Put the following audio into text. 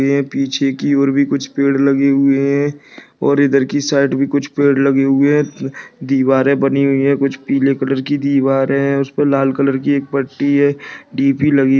ये पीछे की और भी कुछ पेड़ लगे हुए है और इधर के साइड भी कुछ पेड़ लगे हुए है दीवारें बनी हुई है कुछ पीले कलर की दीवारें है उसपे लाल कलर की एक पट्टी है डी_पी लगी है।